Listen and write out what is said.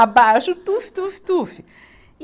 Abaixo, tuf, tuf, tuf. e